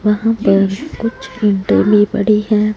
वहां पर कुछ इंटली पड़ी है।